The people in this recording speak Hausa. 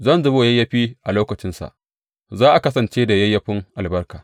Zan zubo yayyafi a lokacinsa; za a kasance da yayyafin albarka.